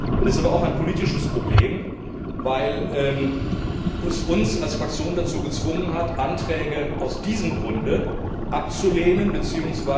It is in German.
Es ist aber auch ein politisches Problem, weil es uns als Fraktion dazu gezwungen hat, Anträge aus diesem Grunde abzulehnen bzw.